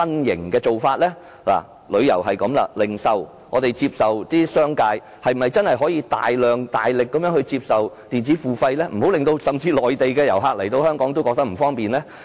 談過旅遊，在零售方面，商界又是否真的可以由衷地接受電子付費，以免訪港的內地遊客感到不便呢？